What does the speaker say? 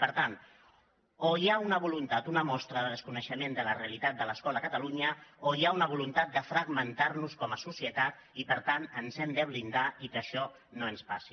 per tant o hi ha una mostra de desconeixement de la realitat de l’escola a catalunya o hi ha una voluntat de fragmentar nos com a societat i per tant ens hem de blindar i que això no ens passi